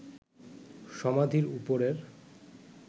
সমাধির ওপরের